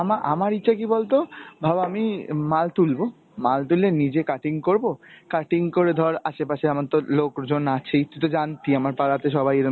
আমা~ আমার ইচ্ছা কী বলতো, ভাব আমি মাল তুলব, মাল তুলে নিজে cutting করব cutting করে ধর আসেপাশে আমার তোর লোকজন আছেই তুই তো জানতি আমার পাড়াতে সবাই এরম